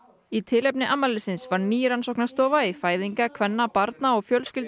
í tilefni afmælisins var ný rannsóknarstofa í fæðinga kvenna barna og